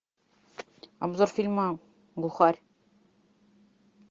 обзор фильма глухарь